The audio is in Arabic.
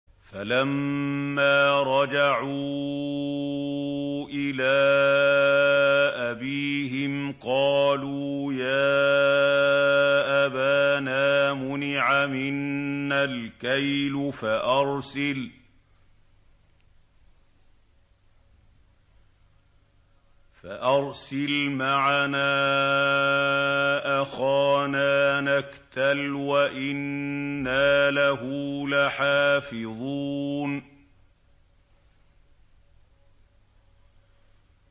فَلَمَّا رَجَعُوا إِلَىٰ أَبِيهِمْ قَالُوا يَا أَبَانَا مُنِعَ مِنَّا الْكَيْلُ فَأَرْسِلْ مَعَنَا أَخَانَا نَكْتَلْ وَإِنَّا لَهُ لَحَافِظُونَ